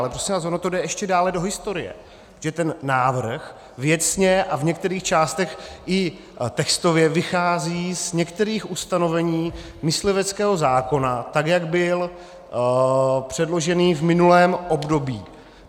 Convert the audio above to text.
Ale prosím vás, ono to jde ještě dále do historie, že ten návrh věcně a v některých částech i textově vychází z některých ustanovení mysliveckého zákona, tak jak byl předložený v minulém období.